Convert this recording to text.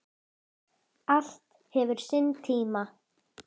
Allt hefur sinn tíma